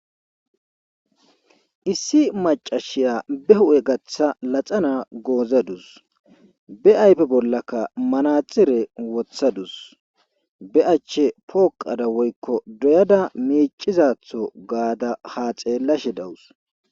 Issi maccasiya be hu'e gaththa lxana goozadus. be ayfe boolakka manaxire woththadus be ache pooqada woykko dooyada miccizato gaada ha xeelashe dawus.